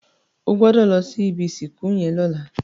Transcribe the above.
Ò gbòdò lò si ibi isinkú yèn lòlá